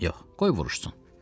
Yox, qoy vuruşsun.